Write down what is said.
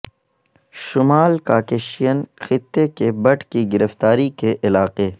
شمال کاکیشین خطے کے بٹ کی گرفتاری کے علاقے